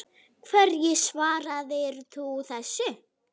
Hverju svararðu þessu?